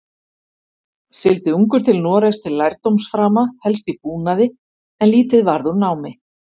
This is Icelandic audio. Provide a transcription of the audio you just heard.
Sigldi ungur til Noregs til lærdómsframa, helst í búnaði, en lítið varð úr námi.